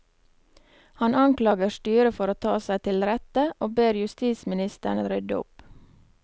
Han anklager styret for å ta seg til rette, og ber justisministeren rydde opp.